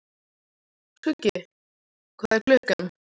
Skuggi, hvað er klukkan?